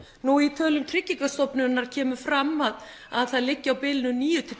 nú í tölum Tryggingastofnunar kemur fram að að það liggi á bilinu níu til